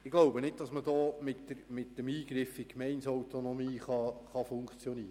Ich glaube nicht, dass man hier mit dem Eingriff in die Gemeindeautonomie argumentieren kann.